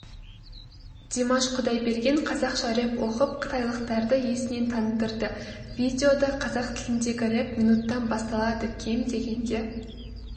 димаш құдайберген қазақша рэп оқып қытайлықтарды есінен тандырды видеода қазақ тіліндегі рэп минуттан басталады кем дегенде